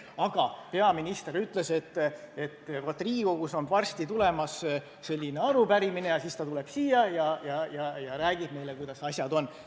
Aga peaminister ütles ka, et Riigikogus on varsti tulemas selline arupärimine ja siis ta tuleb siia ja räägib, kuidas asjad on.